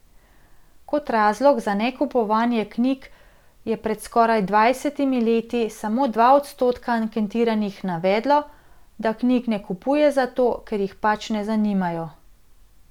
Kot razlog za nekupovanje knjig je pred skoraj dvajsetimi leti samo dva odstotka anketiranih navedlo, da knjig ne kupuje zato, ker jih pač ne zanimajo.